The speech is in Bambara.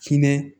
Kinɛ